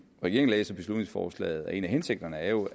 regeringen læser beslutningsforslaget er en af hensigterne jo